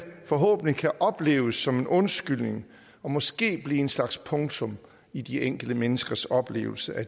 forhåbentlig opleves som en undskyldning og måske blive en slags punktum i de enkelte menneskers oplevelse af